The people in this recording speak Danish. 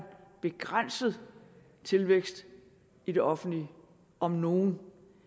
begrænset tilvækst i det offentlige om nogen